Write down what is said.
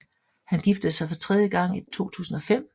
Han giftede sig for tredje gang i 2005